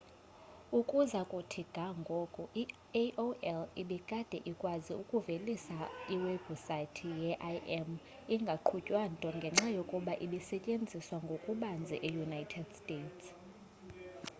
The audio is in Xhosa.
ukuza kuthi ga ngoku i-aol ibikade ikwazi ukuvelisa iwebhusayithi ye-im ingaqhutywa nto ngenxa yokuba ibisetyenziswa ngokubanzi eunited states